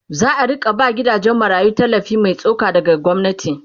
za'a rinka ba gidajen marayu tallafi Mai tsoka daga gwamnati